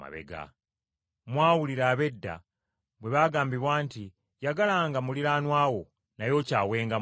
“Mwawulira ab’edda bwe baagambibwa nti, ‘Yagalanga muliraanwa wo, naye okyawenga mulabe wo.’